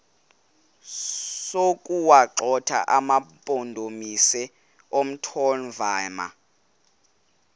sokuwagxotha amampondomise omthonvama